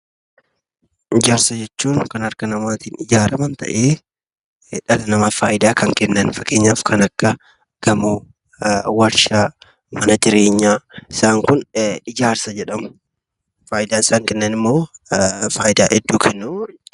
Ijaarsa jechuun kan harka namaatiin ijaaraaman ta'ee dhala namaaf faayidaa kan kennan fakkeenyaaf kan akka gamoo, warshaa, mana jireenyaa. Isaan kun ijaarsa jedhamu. Faayidaa hedduu kennu.